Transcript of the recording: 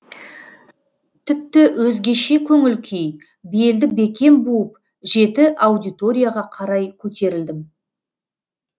тіпті өзгеше көңіл күй белді бекем буып жеті аудиторияға қарай көтерілдім